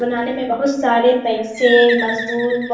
बनाने में बहुत सारे पैसे मजदूर बौ --